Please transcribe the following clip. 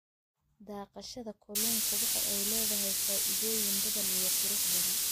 Dhaqashada kalluunka waxa ay leedahay faa�iidooyin badan iyo qurux badan.